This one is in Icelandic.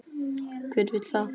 Hver vill það?